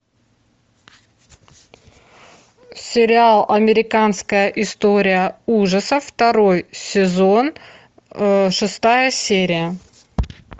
сериал американская история ужасов второй сезон шестая серия